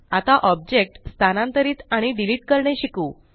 आता ऑब्जेक्ट स्थानांतरीत आणि डिलीट करणे शिकू